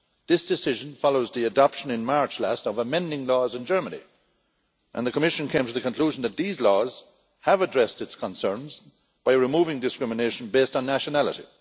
This decision follows the adoption last March of amending laws in Germany, and the Commission came to the conclusion that these laws have addressed its concerns by removing discrimination based on nationality.